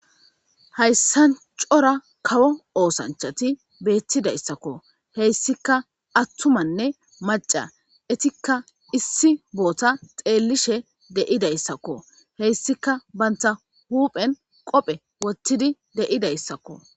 Hayssan cora kawo oosanchati beettidayssakko heyssika attumanne maca itikka issi boota xeellishe deidayssakko heyssika banta huuphen qophe wottidi deyidayssakko